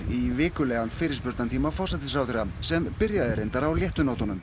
í vikulegan fyrirspurnatíma forsætisráðherra sem byrjaði reyndar á léttu nótunum